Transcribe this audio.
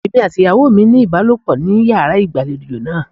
Èmi àti ìyàwó mi ní ìbálòpọ̀ ní yàrá ìgbàlejò náà.